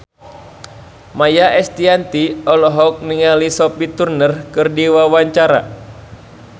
Maia Estianty olohok ningali Sophie Turner keur diwawancara